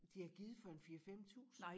De havde givet for en 4 5 tusind